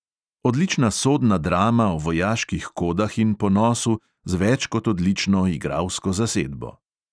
Odlična sodna drama o vojaških kodah in ponosu, z več kot odlično igralsko zasedbo.